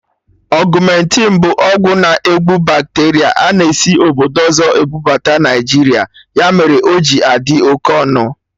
Augmentin bụ ọgwụ na-egbu bacteria a na esi obodo ọzọ ebubata Naijiria, ya mere o ji adị oké ọnụ